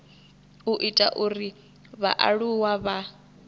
u ita uri vhaaluwa vha